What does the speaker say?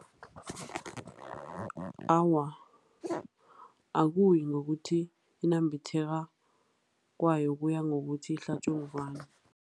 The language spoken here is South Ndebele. Awa, akuyi ngokuthi inambitheka kwayo kuya ngokuthi ihlatjwe ngubani.